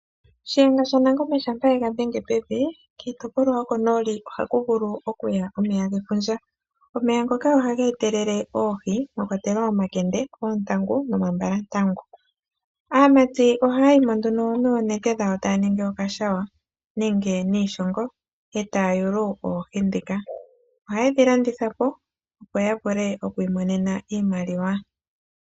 Shiyenga sha nangombe shampa ega dhenge pevi, kiitopolwa yokonooli ohaku vulu okuya omeya gefundja. Omeya ngoka oha geetelele oohi mwa kwatelwa omakende, oontangu nomambalantangu. Aamati ohaa yi mo nduno noonete dhawo taa ningi okashawa nenge niishongo, e taa yulu oohi dhika. Ohaye dhi landitha po opo ya vule okwiimonena iimaliwa.